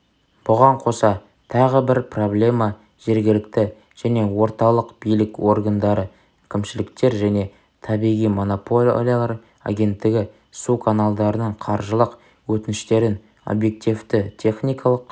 бұған қоса тағы бір проблема жергілікті және орталық билік органдары кімшіліктер және табиғи монополиялар агенттігі суканалдарының қаржылық өтініштерін объективті техникалық